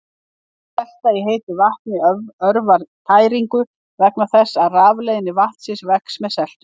Selta í heitu vatni örvar tæringu vegna þess að rafleiðni vatnsins vex með seltunni.